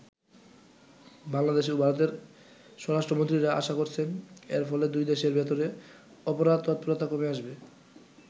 বাংলাদেশ ও ভারতের স্বরাষ্ট্রমন্ত্রীরা আশা করছেন এর ফলে দুই দেশের ভেতরে অপরাধ তৎপরতা কমে আসবে।